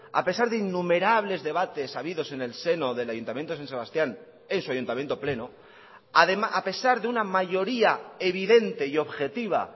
a pesar de innumerables debates habidos en el seno del ayuntamiento de san sebastián en su ayuntamiento pleno a pesar de una mayoría evidente y objetiva